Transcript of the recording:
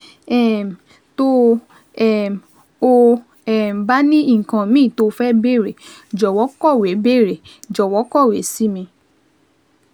um Tó um o um bá ní nǹkan míì tó o fẹ́ béèrè, jọ̀wọ́ kọ̀wé béèrè, jọ̀wọ́ kọ̀wé sí mi